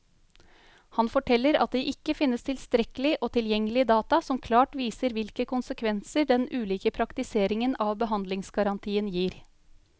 Han forteller at det ikke finnes tilstrekkelig og tilgjengelig data som klart viser hvilke konsekvenser den ulike praktiseringen av behandlingsgarantien gir.